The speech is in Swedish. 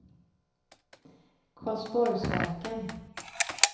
Karlsborgsverken